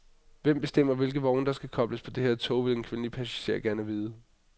Hvem bestemmer, hvilke vogne der skal kobles på det her tog, vil en kvindelig passager gerne vide.